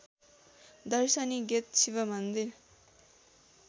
दर्शनी गेट शिवमन्दिर